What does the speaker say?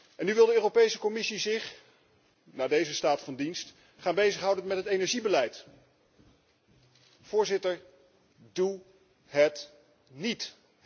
En nu wil de Europese Commissie zich, na deze staat van dienst, gaan bezighouden met het energiebeleid! Voorzitter, doe het niet!